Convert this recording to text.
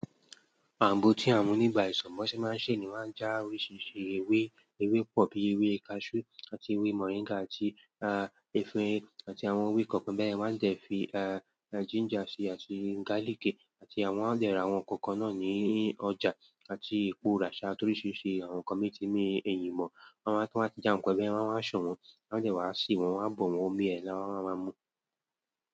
Àgbò tí àwọn tin wo isan bi won ṣé máa ń ṣe ni wo máa ń já oríṣiríṣi ewé. Ewé pọ̀ bí ewé cashew àti ewé moringagi àti efirin àti àwọn ewé kankan bẹ́yẹ̀. Wọ́n á dẹ fi ginger ṣi àti garlic ti wọ́n á de ra àwọn nkankan náà ní ọjà àti ipara torí ṣí ṣe àwọn kan mi ti ní ẹ̀yìn mọ́. Wọ́n máa tu wa n ti já wọn pẹ́lẹ́, wọ́n a de wáa ń ṣe wọ́n, wọ́n á dẹ wá sè wọ́n, wọ́n á bọ̀ wọ́n, omi ẹ̀ láwa máama ń mú.